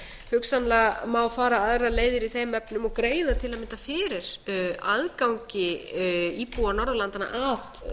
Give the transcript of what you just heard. hugsanlega má fara aðra leiðir í þeim efnum og greiða til að mynda fyrir aðgangi íbúa norðurlandanna að